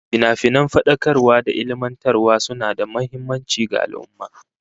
Finafinan fadakarwa da ilmantarwa suna da muhimmanci ga al'ummah